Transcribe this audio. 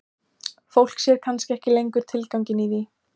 Fólk sér kannski ekki lengur tilganginn í því.